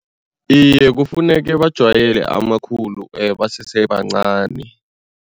Iye, kufuneke bajwayele amakhulu basese bancani.